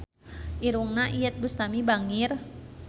Irungna Iyeth Bustami bangir